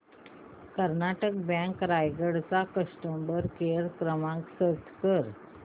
Karnataka bank Raigad चा customer care क्रमांक search कर